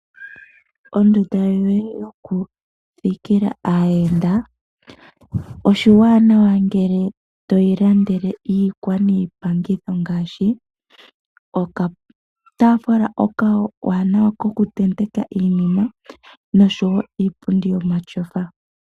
Ondunda yoye yoku thikila aayenda, oshiwanawa ngele toyi landele iikwa niipangitho ngaashi okatafuula okawanawa koku tendeka iinima noshowo iipundi yomatyofa.